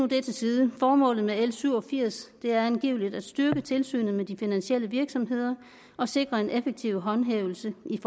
det til side formålet med l syv og firs er angiveligt at styrke tilsynet med de finansielle virksomheder og sikre en effektiv håndhævelse i